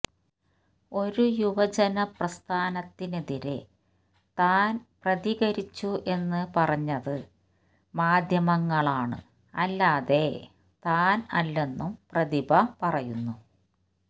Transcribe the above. ഒരു യുവജന പ്രസ്ഥാനത്തിനെതിരെ താന് പ്രതികരിച്ചു എന്ന് പറഞ്ഞത് മാധ്യമങ്ങളാണ് അല്ലാതെ താന് അല്ലെന്നും പ്രതിഭ പറയുന്നു